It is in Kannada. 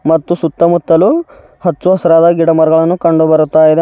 ಮತ್ತು ಸುತ್ತ ಮುತ್ತಲು ಹಚ್ಚು ಹಸಿರಾದ ಗಿಡಮರವನ್ನು ಕಂಡು ಬರುತಾ ಇದೆ.